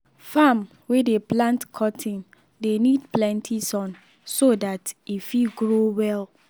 farm wey dey plant cotton dey need plenty sun so dat e fit grow well.